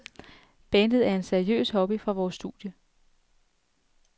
Bandet er en seriøs hobby fra vore studier.